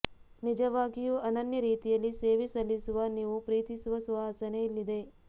ನಿಜವಾಗಿಯೂ ಅನನ್ಯ ರೀತಿಯಲ್ಲಿ ಸೇವೆ ಸಲ್ಲಿಸುವ ನೀವು ಪ್ರೀತಿಸುವ ಸುವಾಸನೆ ಇಲ್ಲಿದೆ